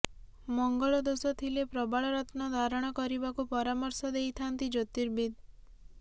ମଙ୍ଗଳ ଦୋଷ ଥିଲେ ପ୍ରବାଳ ରତ୍ନ ଧାରଣ କରିବାକୁ ପରାମର୍ଶ ଦେଇଥାନ୍ତି ଜ୍ୟୋତିର୍ବିଦ୍